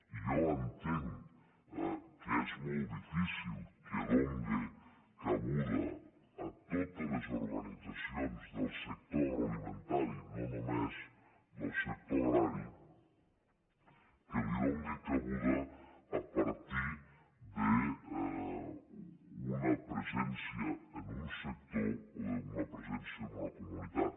i jo entenc que és molt difícil que done cabuda a totes les organitzacions del sector agroalimentari no només del sector agrari que hi done cabuda a partir d’una presència en un sector o d’una presència en una comunitat